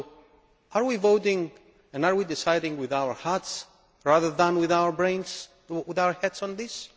So are we voting and are we deciding with our hearts rather than with our brains and our heads on this?